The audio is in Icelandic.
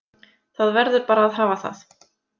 Það verður bara að hafa það